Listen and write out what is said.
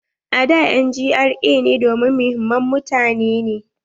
A da an GRA ne domin muhimman mutane.